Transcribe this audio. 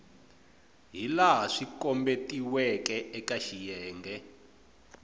hilaha swi kombetiweke eka xiyenge